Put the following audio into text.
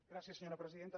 gràcies senyora presidenta